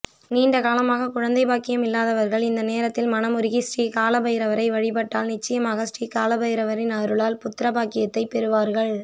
நீண்டகாலமாக குழந்தைப் பாக்கியம் இல்லாதவர்கள் இந்த நேரத்தில் மனமுருகி ஸ்ரீகாலபைரவரை வழிபட்டால் நிச்சயமாக ஸ்ரீகாலபைரவரின் அருளால் புத்தரபாக்கியத்தைப் பெறுவார்கள்